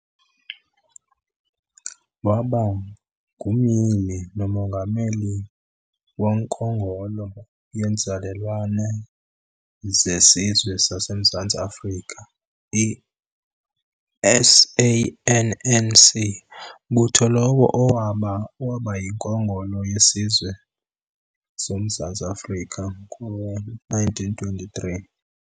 Waba ngumyili nomongameli wonkongolo yeeNzalelwane zeSizwe sazemZantsi Afrika, i-SANNC, mbutho lowo owaba owaba yiNkongolo yeSizwe sasemZantsi Afrika ngo-1923.